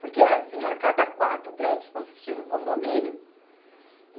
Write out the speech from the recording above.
Porque era assim, era cada quatro prédios consistia num condomínio.